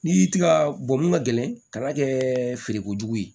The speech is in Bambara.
N'i y'i ti ka mun ka gɛlɛn ka na kɛ feere kojugu ye